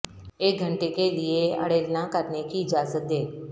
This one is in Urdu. ایک گھنٹے کے لئے اڑےلنا کرنے کی اجازت دیں